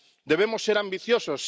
Debemos ser ambiciosos